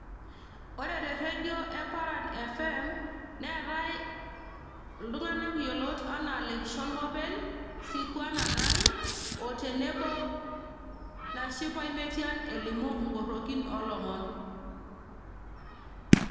Ore terredio e Paran FM,neetae iltung'anak yiolot enaa Lekishon Mopel, Sikuana Nai,o tenebo Nashipae Metian, elimu inkorrokin olomon.